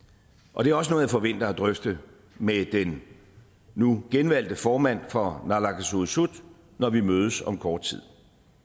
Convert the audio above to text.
og det er også noget jeg forventer at drøfte med den nu genvalgte formand for naalakkersuisut når vi mødes om kort tid